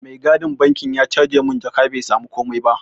Mai gadin bankin ya caje mun jaka bai samu komai ba.